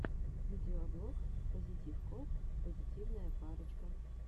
видеоблог пазитив копл позитивная парочка